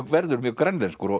verður mjög grænlenskur og